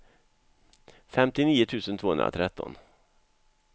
femtionio tusen tvåhundratretton